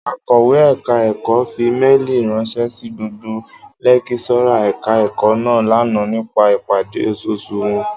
Akọ̀wé ẹ̀ka ẹ̀kọ́ fi méèlì ránṣẹ́ sí gbogbo lẹ́kíṣọ́rà ẹ̀ka ẹ̀kọ́ náà lánàá nípa ìpàdé oṣooṣù wọn